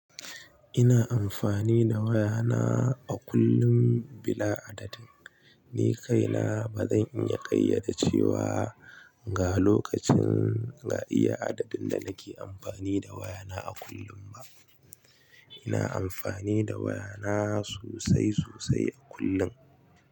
Ina amfani da wayana a kullum bila adadin. Ni kaina ba zan iya ƙayyade cewa ga lokacin ga iya adadin da nake amfani da wayana a kullum ba. Ina amfani da wayana sosai sosai a kullum.